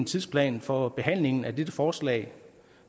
tidsplanen for behandlingen af dette forslag